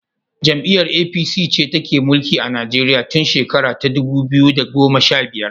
Jam'iyar APC ce take mulkin Nigeria tun shera ta dubu biyu da goma sha biyar.